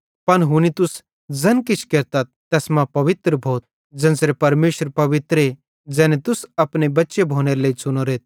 पन हुनी तुस ज़ैन किछ केरतथ तैस मां पवित्र भोथ ज़ेन्च़रे परमेशर पवित्रे ज़ैने तुस अपने बच्चे भोनेरे लेइ च़ुनोरेथ